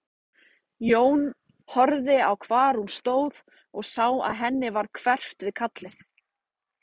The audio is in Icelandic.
Jón horfði á hvar hún stóð og sá að henni varð hverft við kallið.